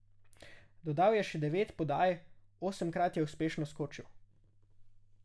Dodal je še devet podaj, osemkrat je uspešno skočil.